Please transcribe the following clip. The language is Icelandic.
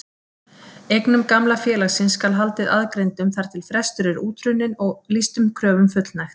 Eignum gamla félagsins skal haldið aðgreindum þar til frestur er útrunninn og lýstum kröfum fullnægt.